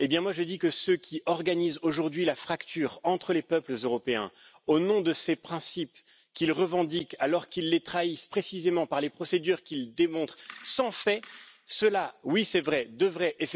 Je dis que ceux qui organisent aujourd'hui la fracture entre les peuples européens au nom de ces principes qu'ils revendiquent alors qu'ils les trahissent précisément par les procédures qu'ils démontrent sans faits, ceux là, oui c'est vrai, devraient...